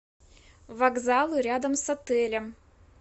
вокзалы рядом с отелем